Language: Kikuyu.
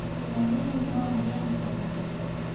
Mũrũaru rĩũ no arĩe na kanua.